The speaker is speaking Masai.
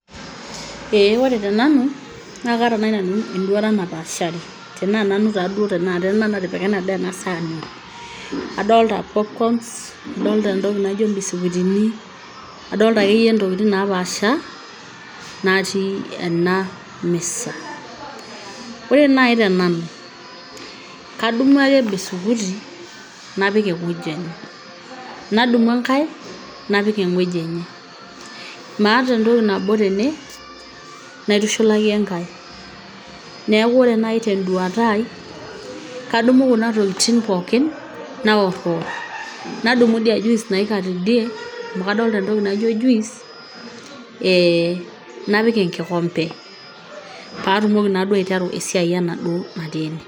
ee ore tenanu naa kaata naaji nanu enduata napaashari tenaa nanu taduo tenakata ena natipika ena daa ena sahani adolta popcorns adolta entoki nijo imbiskutini adolta akeyie intokitig napaasha natii ena misa ore naaji tenanu kadumu ake bisukuti napik ewueji enye nadumu enkae napik eng'ueji enye maata entoki nabo tene naitushulaki enkae neku ore nai tenduata ai kadumu kuna tokiting pookin naworriwor nadumu idia juice naika tidie amu kadolta entoki naijo juice eh, napik enkikombe patumoki naduo aiteru esiai enaduo natii ene.